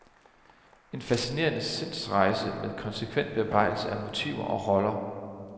En fascinerende sindsrejse med konsekvent bearbejdelse af motiver og roller.